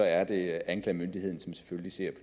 er anklagemyndigheden som selvfølgelig ser